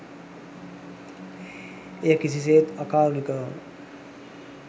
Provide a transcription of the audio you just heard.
එය කිසිසේත් අකාරුණිකව